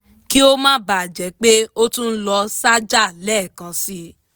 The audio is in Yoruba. kí ó má bà a jẹ pé ó tún lọ sájà lẹ́ẹ̀kansi